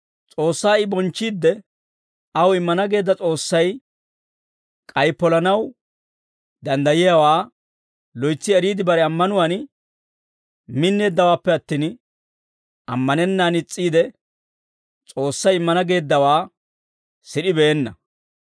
S'oossaa I bonchchiidde, aw immana geedda S'oossay k'ay polanaw danddayiyaawaa loytsi eriide bare ammanuwaan minneeddawaappe attin, ammanennaan is's'iide, S'oossay immana geeddawaa sid'ibeenna.